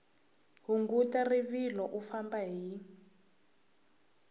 hunguta rivilo u famba hi